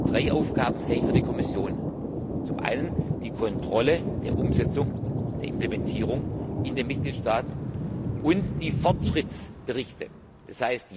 Drei Aufgaben sehe ich für die Kommission, zum einen die Kontrolle der Umsetzung, der Implementierung in den Mitgliedstaaten, und die Fortschrittsberichte,